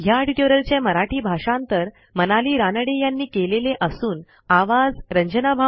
ह्या ट्युटोरियलचे मराठी भाषांतर मनाली रानडे यांनी केलेले असून आवाज